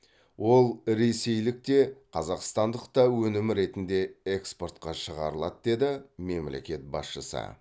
ол ресейлік те қазақстандық та өнім ретінде экспортқа шығарылады деді мемлекет басшысы